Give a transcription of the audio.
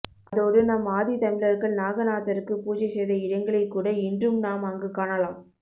அதோடு நம் ஆதி தமிழர்கள் நாகநாதருக்கு பூஜைசெய்த இடங்களைகூட இன்றும் நாம் அங்கு காணலாம்